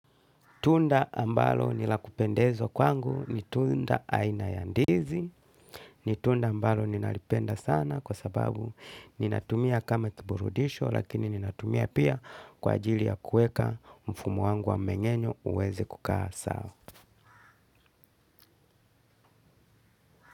Tunda ambalo ni la kupendezwa kwangu ni tunda aina ya ndizi. Ni tunda ambalo ninalipenda sana kwa sababu ninatumia kama kiburudisho, lakini ninatumia pia kwa ajili ya kuweka mfumo wangu wa mmenyenyo uweze kukaa sawa.